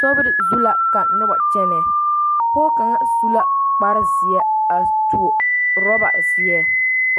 Sori zu la ka noba kyɛnɛ pɔɔ kaŋa su la kpar zeɛ a tuo orɔba zeɛ